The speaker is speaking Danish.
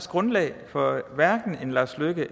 grundlag for hverken en lars løkke